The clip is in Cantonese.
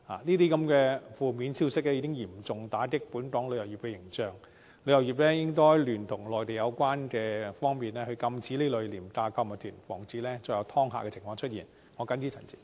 這些負面消息已嚴重打擊本港旅遊業的形象，旅遊業應聯同內地有關方面禁止這類廉價購物團，防止再有"劏客"情況出現。